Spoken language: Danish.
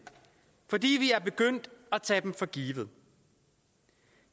fordi vi er begyndt at tage dem for givet